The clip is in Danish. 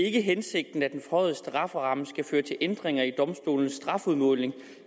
ikke hensigten at den forhøjede strafferamme skal føre til ændringer i domstolenes strafudmåling